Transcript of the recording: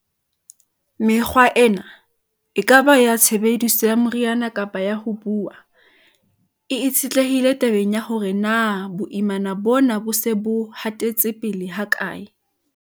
Mekgwa ena, e ka ba ya tshebediso ya meriana kapa ya ho buuwa, e itshetlehile tabeng ya hore na boimana bona bo se bo hatetse pele hakae.